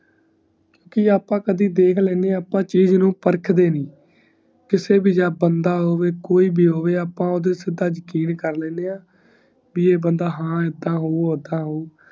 ਕਿ ਅੱਪਾ ਕਦੇ ਦੇਖ ਲੈਂਦੇ ਈ ਅੱਪਾ ਚੀਜ਼ ਨੂੰ ਪ੍ਰਖਤੇ ਨੀ ਕਿਸੀ ਵੀ ਚਾਹੇ ਬੰਦਾ ਹੋਵੇ ਕੋਈ ਬ ਹੋਵੇ ਅੱਪਾ ਓਦੇ ਤੇ ਸਿਧ ਯਕੀਨ ਕਰ ਲੈਣਗੇ ਆ ਕਿ ਈ ਬੰਦਾ ਹਨ ਏਦਾਂ ਹੋਓ ਓਦਾਂ ਹੋਓ